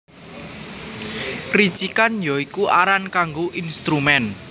Ricikan ya iku aran kanggo instrumen